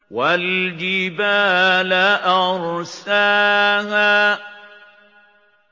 وَالْجِبَالَ أَرْسَاهَا